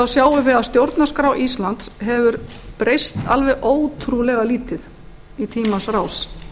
sjáum við að stjórnarskrá íslands hefur breyst alveg ótrúlega lítið í tímans rás